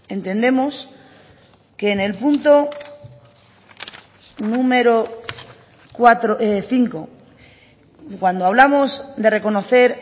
entendemos que en el punto número cuatro cinco cuando hablamos de reconocer